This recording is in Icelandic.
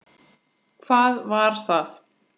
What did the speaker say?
Hvað var það?